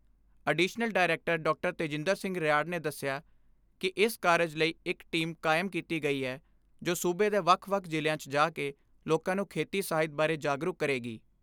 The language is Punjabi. ਤੇਜਿੰਦਰ ਸਿੰਘ ਰਿਆੜ ਨੇ ਦਸਿਆ ਕਿ ਇਸ ਕਾਰਜ ਲਈ ਇਕ ਟੀਮ ਕਾਇਮ ਕੀਤੀ ਗਈ ਐ ਜੋ ਸੂਬੇ ਦੇ ਵੱਖ ਵੱਖ ਜ਼ਿਲ੍ਹਿਆਂ 'ਚ ਜਾ ਕੇ ਲੋਕਾਂ ਨੂੰ ਖੇਤੀ ਸਾਹਿਤ ਬਾਰੇ ਜਾਗਰੂਕ ਕਰੇਗੀ।